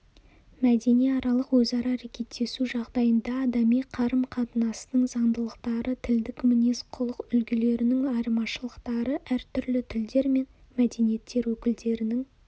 мәдениаралық өзара әрекеттесу жағдайында адами қарым-қатынастың заңдылықтары тілдік мінез-құлық үлгілерінің айырмашылықтары әртүрлі тілдер мен мәдениеттер өкілдерінің